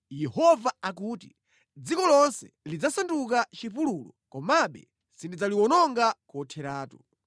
Yehova akuti, “Dziko lonse lidzasanduka chipululu komabe sindidzaliwononga kotheratu.